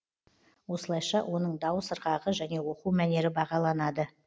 осылайша оның дауыс ырғағы және оқу мәнері бағаланады